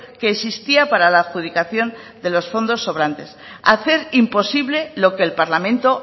que existía para la adjudicación de los fondos sobrantes hacer imposible lo que el parlamento